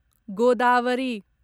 Godavari